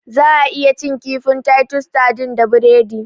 Za'a iya cin kifin "Titus sardines " da biredi.